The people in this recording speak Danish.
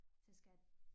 Til skat